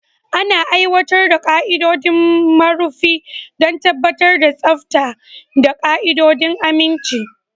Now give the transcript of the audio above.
Ana aiwatar da ƙa'idodin marufi don tabbatar da tsafta da ƙa'idodin aminci.